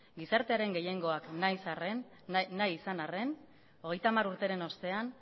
gizartearen gehiengoak nahi izan arren hogeita hamar urteren ostean